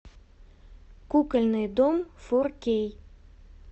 кукольный дом фор кей